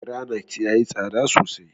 Garanait yayi tsada sosai.